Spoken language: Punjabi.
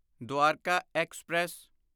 ਦਵਾਰਕਾ ਐਕਸਪ੍ਰੈਸ